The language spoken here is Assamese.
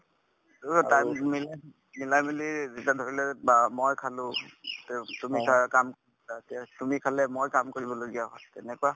time নিমিলে মিলামিলি ধৰিললো বা মই খালো তে তুমি তাৰ কাম অ তে তুমি খালে মই কাম কৰিবলগীয়া হয় তেনেকুৱা